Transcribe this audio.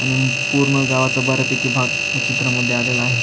आणि पूर्ण गावाचा बऱ्या पैकी भाग ह्या चित्रामध्ये आलेला आहे.